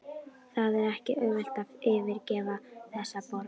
Það er ekki auðvelt að yfirgefa þessa borg.